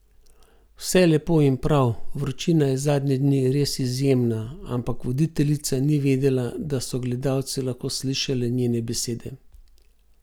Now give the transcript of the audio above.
Vse lepo in prav, vročina je zadnje dni res izjemna, ampak voditeljica ni vedela, da so gledalci lahko slišali njene besede.